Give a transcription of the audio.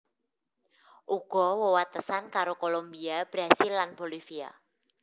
Uga wewatesan karo Kolombia Brasil lan Bolivia